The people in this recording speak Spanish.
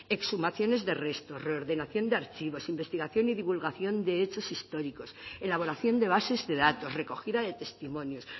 exhumaciones de restos reordenación de archivos investigación y divulgación de hechos históricos elaboración de bases de datos recogida de testimonios